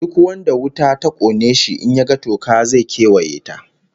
Duk wanda wuta ta kona shi, in ya ga toka, zai kewaye ta